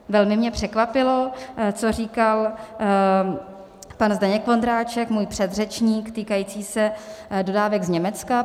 Velmi mě překvapilo, co říkal pan Zdeněk Ondráček, můj předřečník, týkající se dodávek z Německa.